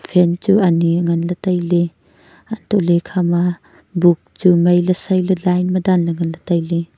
phan chu ani nganley tailey antole ikhama book chu mailey sailey line ma danle nganley tailey.